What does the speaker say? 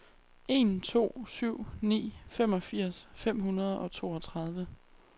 en to syv ni femogfirs fem hundrede og toogtredive